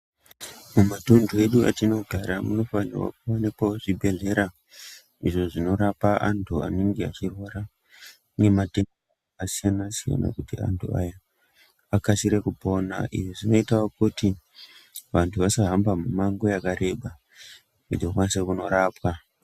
Mumatuntu edu atinogara mune zvibhedhlera izvo zvinorapa antu vanenge veirwara ngematenda akasiyana-siyana, kuti antu akasire kupora .lzvi zvinoitao kuti antu asahamba mimango yakakura akwanise kunorapwa.